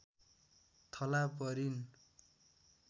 थला परिन्